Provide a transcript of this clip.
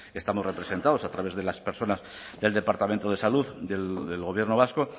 estamos representados a través de las personas del departamento de salud del gobierno vasco